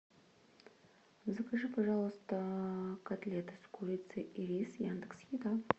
закажи пожалуйста котлеты с курицей и рис яндекс еда